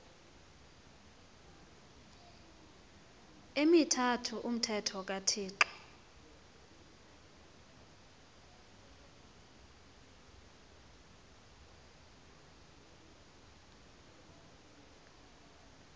emithathu umthetho kathixo